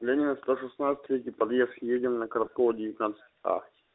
ленина сто шестнадцать третий подъезд едем на котовского девятнадцать а